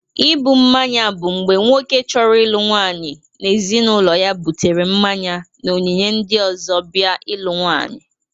Ịbụ mmanya bụ mgbe nwoke chọrọ ịlụ nwaanyị na ezinaụlọ ya bụtere mmanye na onyinye ndị ọzọ bia ịlụ nwaanyị.